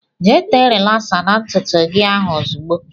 Jee tee rilasa n' ntụtụ gị ahụ ozigbo!!